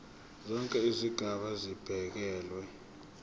zonke izigaba zibekelwe